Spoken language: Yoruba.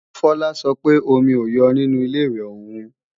Fola sọ pé omi ò yọ nínu Ilé-ìwẹ̀ òun